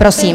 Prosím.